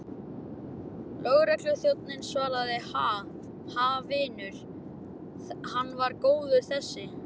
Lögregluþjónninn svaraði, Ha, ha, vinur, hann var góður þessi.